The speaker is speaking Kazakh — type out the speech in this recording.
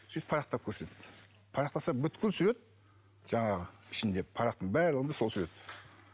сөйтіп парақтап көрсетті парақтаса бүкіл сурет жаңағы ішінде парақтың барлығында сол сурет